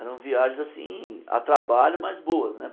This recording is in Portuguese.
Eram viagens assim, a trabalho, mas boas, né?